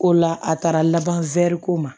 Ko la a taara laban ko ma